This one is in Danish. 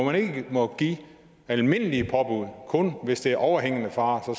må give almindelige påbud kun hvis der er overhængende fare for